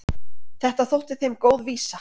Þetta þótti þeim góð vísa.